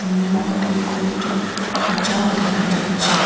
রুমের মধ্যেও কয়েকটি খাঁচাও দেখা যাচ্ছে।